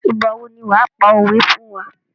Ìgbà wo ni wàá pa òwé fún wá.